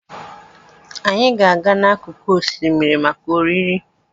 Anyị ga-aga n'akụkụ osimiri maka oriri.